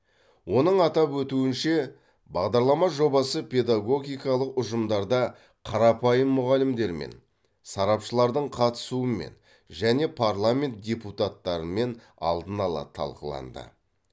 оның атап өтуінше бағдарлама жобасы педагогикалық ұжымдарда қарапайым мұғалімдермен сарапшылардың қатысумен және парламент депутаттарымен алдын ала талқыланды